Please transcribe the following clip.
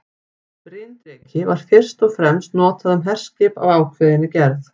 Bryndreki var fyrst og fremst notað um herskip af ákveðinni gerð.